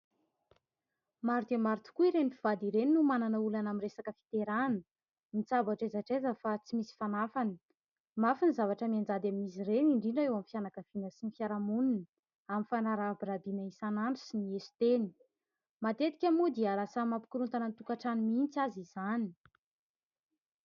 Maro dia maro tokoa ireny mpivady ireny no manana olana amin'ny resaka fiterahana. Mitsabo hatraiza hatraiza fa tsy misy fanafany. Mafy ny zavatra mianjady amin'izy ireny indrindra eo amin'ny fianakaviana sy ny fiarahamonina amin'ny fanarabirabiana isanandro sy ny eso-teny. Matetika moa dia lasa mampikorontana ny tokantrano mihitsy aza izany.